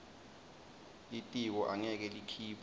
litiko angeke likhiphe